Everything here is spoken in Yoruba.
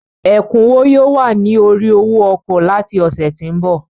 Ẹ̀kúnwó yóò wà ní orí owó ọkọ̀ láti ọ̀sẹ̀ tí ń bọ̀.